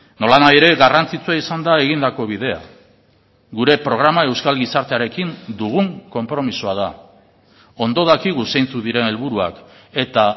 nolanahi ere garrantzitsua izan da egindako bidea gure programa euskal gizartearekin dugun konpromisoa da ondo dakigu zeintzuk diren helburuak eta